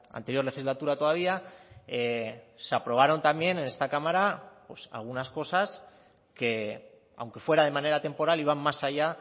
la anterior legislatura todavía se aprobaron también en esta cámara pues algunas cosas que aunque fueran de manera temporal iban más allá